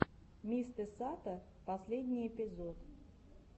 мистэсато последний эпизод